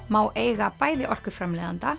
má eiga bæði